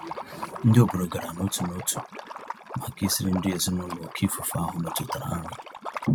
Ndị obodo gara n'otu n'otu màkà isiri ndị ezinụlọ oké ifufe ahụ metụtara nri.